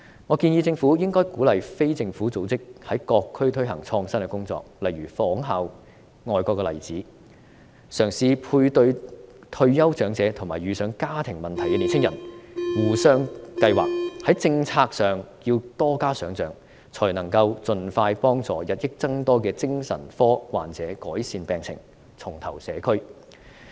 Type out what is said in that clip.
我建議政府應該鼓勵非政府組織，在各區推行創新工作，例如仿效外國的例子，嘗試配對退休長者與遇上家庭問題的年青人，互相計劃。在政策上要多加想象，才能夠盡快幫助日益增多的精神科患者改善病情，重投社區。